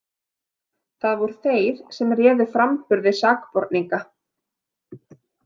Það voru þeir sem réðu framburði sakborninga.